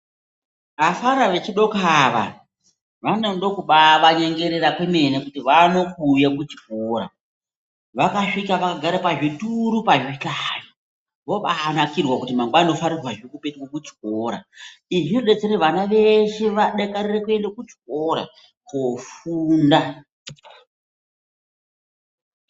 Afana vechidoko ava vanode kubaava nyengerera kwemene kuti vaone kuuye kuchikora vakasvika vakagare pazvituru pazvihlayo vobanakirwa kuti mangwani ndinofanirwazve kupetuke kuchikora izvi zvibodetsere kuti vana veshe vadakarure kuende kuchikora kofunda.